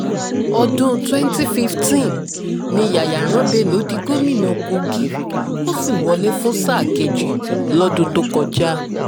ọdún 2015 ni yayaran bello di gómìnà kogi ó sì wọlé fún sáà kejì lọ́dún tó kọjá